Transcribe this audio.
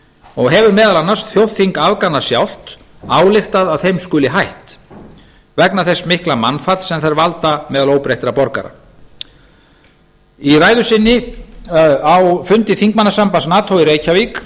og hefur meðal annars þjóðþing afgana sjálft ályktað að þeim skuli hætt vegna þess mikla mannfalls sem þær valda meðal óbreyttra borgara í ræðu sinni á fundi þingmannasambands nato í reykjavík